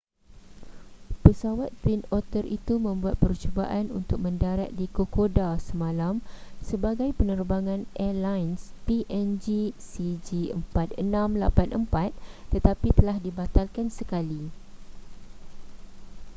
pesawat twin otter itu membuat percubaan untuk mendarat di kokoda semalam sebagai penerbangan airlines png cg4684 tetapi telah dibatalkan sekali